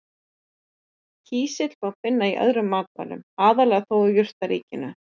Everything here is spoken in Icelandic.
Kísil má finna í öðrum matvælum, aðallega þó úr jurtaríkinu.